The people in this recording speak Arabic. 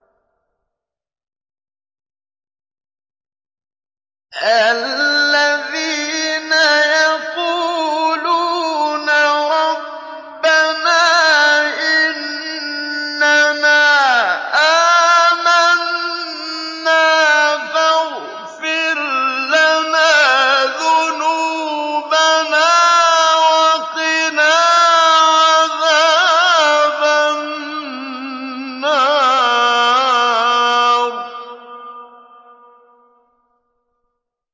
الَّذِينَ يَقُولُونَ رَبَّنَا إِنَّنَا آمَنَّا فَاغْفِرْ لَنَا ذُنُوبَنَا وَقِنَا عَذَابَ النَّارِ